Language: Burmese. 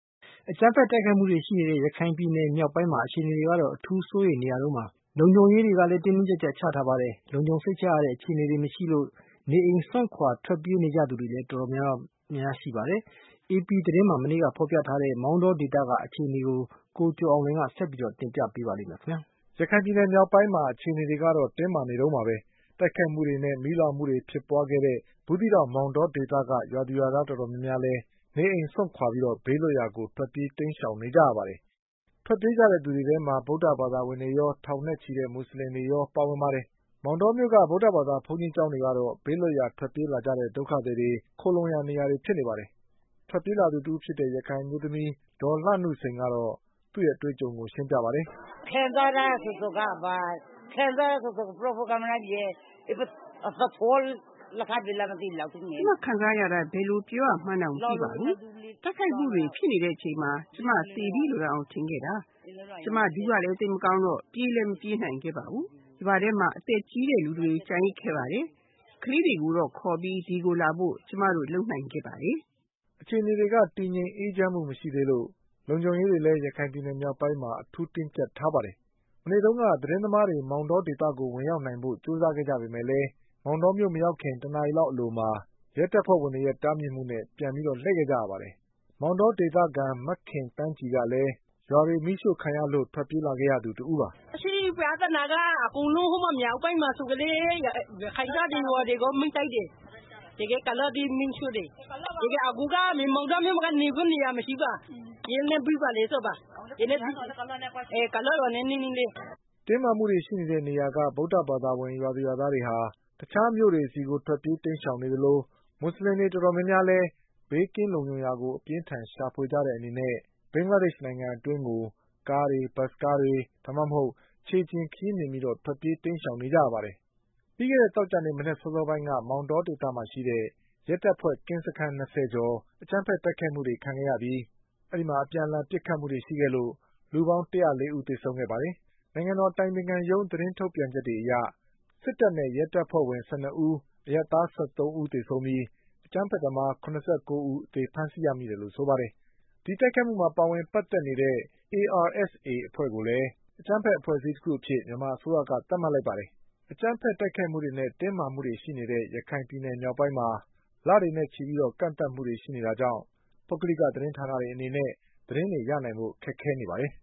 အကြမ်းဖက်တိုက်ခိုက်မှုတွေရှိနေတဲ့ ရခိုင်ပြည်နယ်မြောက်ပိုင်းမှာ အခြေအနေတွေက အထူးစိုးရိမ်နေရတုန်းပါ။ လုံခြုံရေးတွေလည်း တင်းတင်းကျပ်ကျပ်ချထားပါတယ်။ လုံခြုံစိတ်ချရတဲ့အခြေအနေတွေမရှိလို့ နေအိမ်စွန့်ခွါထွက်ပြေး နေသူတွေလည်း တော်တော်များနေပါတယ်။ AP သတင်းမှာမနေ့ကဖေါ်ပြထားတဲ့ မောင်တောဒေသကအခြေအနေ တွေကို ကိုကျော်အောင်လွင်က ဆက်ပြီးပြောပြပါလိမ့်မယ်။ ရခိုင်ပြည်နယ်မြောက်ပိုင်းရဲ့အခြေအနေတွေက တင်းမာနေတုန်းပါပဲ။ တိုက်ခိုက်မှုတွေနဲ့ မီးလောင်မှုတွေဖြစ်ပွါးခဲ့တဲ့ဘူး သီးတောင်မောင်တောဒေသက ရွာသူရွာသားတွေ တော်တော်များများလည်း နေအိမ်စွန့်ခွါပြီးဘေးလွတ်ရာကိုထွက်ပြေး တိမ်းရှောင်နေကြရပါတယ်။ ထွက်ပြေးကြတဲ့သူတွေထဲမှာ ဗုဒ္ဓဘာသာဝင်တွေရော ထောင်နဲ့ချီတဲ့မူဆလင်တွေရောပါဝင် ပါတယ်။ မောင်တောမြို့ ဗုဒ္ဓဘာသာဘုန်းကြီးကျောင်းတွေကတော့ ဘေးလွတ်ရာ ထွက်ပြေးလာတဲ့ ဒုက္ခသည်တွေခိုလှုံရာ နေရာတွေဖြစ်နေပါတယ်။ ထွက်ပြေးလာသူတဦးဖြစ်တဲ့ ရခိုင်အမျိုးသမီး ဒေါ်လှနုစိန်ကတော့သူ့အတွေ့အကြုံကိုရှင်းပြပါ တယ်။ “ကျမခံစားရတာကို ဘယ်လိုပြောပြရမှန်းတောင်မသိပါဘူး။ တိုက်ခိုက်မှုတွေဖြစ်နေတဲ့အချိန်မှာ ကျမသေပြီလို့တောင် ထင်ခဲ့တာ။ ကျမ ဒူးကလည်း သိပ်မကောင်းတော့ ပြေးလည်းမပြေးနိုင်ပါဘူး။ ရွာထဲမှာ အသက်ကြီးတဲ့လူတွေကျန်ခဲ့ကြ တယ်။ ကလေးတွေကိုခေါ်ပြီး ဒီကိုလာဖို့ပဲ ကျမတို့လုပ်နိုင်ပါတယ်” အခြေအနေတွေက တည်ငြိမ်အေးချမ်းမှုမရှိသေးလို့ လုံခြုံရေးတွေလည်း ရခိုင်ပြည်နယ်မြောက်ပိုင်းမှာ အထူးတင်းကျပ် ထားပါတယ်။ မနေ့တုန်းက သတင်းသမားတွေ မောင်တောဒေသကို ဝင်ရောက်နိုင်ဖို့ကြိုးစားကြပေမဲ့လည်း မောင်တော မြို့ မရောက်ခင် တနာရီလောက်အလိုမှာ ရဲတွေရဲ့ တားမြစ်မှုနဲ့ပြန်ပြီးလှည့်ခဲ့ရပါတယ်။ မောင်တောဒေသခံ မခင်သန်း ကြည်ကလည်း ရွာတွေမီးရှို့ခံရလို့ထွက်ပြေးလာရသူတဦးပါ။ “အခုပြဿနာက မြောက်ပိုင်းမှာဆိုရင်လည်းရခိုင်ရွာတွေလည်းမီးရှို့တယ်။ အခုကမောင်တောမြို့မှာက နေဖို့နေရာမရှိဘူး ကုလားရွာနဲ့နီးနီးလေး။” တင်းမာမှုတွေရှိတဲ့နေရာက ဗုဒ္ဓဘာသာဝင် ရွာသူရွာသားတွေက တခြားမြို့တွေဆီကို ထွက်ပြေးတိမ်းရှောင်နေကြသလို မူဆလင်တွေတော်တော်များများလည်း ဘေးကင်းလုံခြုံရာကို အပြင်းအထန်ရှာဖွေကြတဲ့အနေနဲ့ဘင်္ဂလားဒေ့ချ်နိုင်ငံအတွင်းကိုကားတွေ၊ ဘတ်စ်ကားတွေ ဒါမှမဟုတ် ခြေလျှင်ခရီးနှင်ပြီးထွက်ပြေးတိမ်းရှောင်နေကြပါတယ်။ ပြီးခဲ့တဲ့သောကြာနေ့မနက်စောစောပိုင်းက မောင် တောဒေသမှာရှိတဲ့ ရဲတပ်ဖွဲ ကင်းစခန်း၂၀ကျော်ကို အကြမ်းဘက်တိုက်ခိုက်မှုတွေလုပ်ခဲ့ကြပြီး လူပေါင်း ၁၀၄ဦးသေ ဆုံးခဲ့ပါတယ်။ နိုင်ငံတော်အတိုင်ပင်ခံရုံးသတင်းထုတ်ပြန်ချက်တွေအရ စစ်တပ်နဲ့ရဲတပ်ဖွဲ့ဝင် ၁၂ဦး၊ အရပ်သား၁၃ဦး သေဆုံးပြီး အကြမ်းဘက်သမား၇၉ဦးအသေဖမ်းဆီးရမိတယ်လို့ဆိုပါတယ်။ ဒီတိုက်ခိုက်မှုမှာ ပါဝင်ပတ်သက်နေတဲ့ ARSAအဖွဲ့ကိုလည်း အကြမ်းဘက်အဖွဲ့အစည်းတခုအဖြစ် မြန်မာအစိုးရက သတ်မှတ်လိုက်ပါတယ်။ တင်းမာမှုတွေရှိ နေတဲ့ ရခိုင်ပြည်နယ်မြောက်ပိုင်းမှာ လတွေနဲ့ချီပြီး ကန့်သတ်မှုတွေရှိနေတာကြောင့် ပုဂ္ဂလိကသတင်းဌာနတွေ အနေနဲ့ သတင်းတွေရနိုင်ဖို့ ခက်ခဲနေပါတယ်